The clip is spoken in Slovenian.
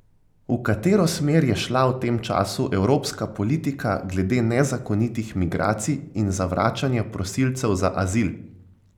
V katero smer je šla v tem času evropska politika glede nezakonitih migracij in zavračanja prosilcev za azil?